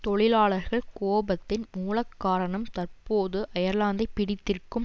தொழிலாளர்கள் கோபத்தின் மூலக்காரணம் தற்போது அயர்லாந்தைப் பிடித்திருக்கும்